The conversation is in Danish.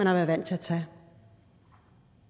har været vant til at tage